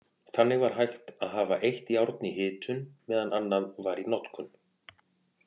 Þannig var hægt að hafa eitt járn í hitun meðan annað var í notkun.